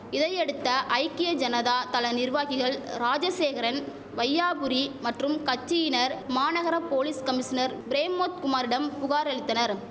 இதையடுத்த ஐக்கிய ஜனதா தள நிர்வாகிகள் ராஜசேகரன் வையாபுரி மற்றும் கச்சியினர் மாநகர போலீஸ் கமிஷனர் பிரேம்மோத் குமாரிடம் புகார் அளித்தனர்